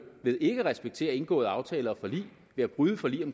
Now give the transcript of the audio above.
ved ikke at respektere indgåede aftaler og forlig ved at bryde forlig